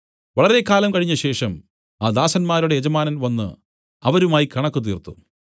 വളരെ കാലം കഴിഞ്ഞശേഷം ആ ദാസന്മാരുടെ യജമാനൻ വന്നു അവരുമായി കണക്ക് തീർത്തു